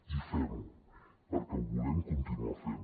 i fem ho perquè ho volem continuar fent